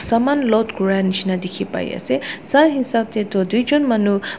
Saman load kura neshna dekhe pai ase sa hasap tey tu tui jun manu uh--